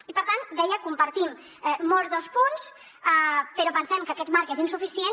i per tant deia en compartim molts dels punts però pensem que aquest marc és insuficient